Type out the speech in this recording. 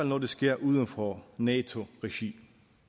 når det sker uden for nato regi